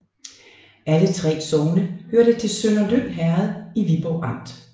Alle 3 sogne hørte til Sønderlyng Herred i Viborg Amt